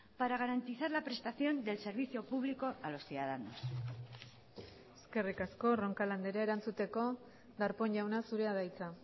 para garantizar la prestación del servicio público a los ciudadanos eskerrik asko roncal andrea erantzuteko darpón jauna zurea da hitza